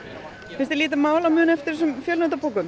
finnst þér lítið mál að muna eftir þessum